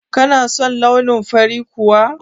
Kana son launin fari kuwa?